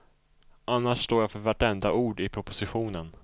Annars står jag för vartenda ord i propositionen.